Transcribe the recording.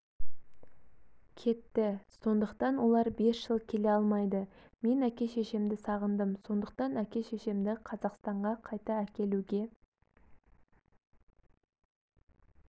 кеті сондықтан олар бес жыл келе алмайды мен әке-шешемді сағындым сондықтан әке-шешемді қазақстанға қайта әкелуге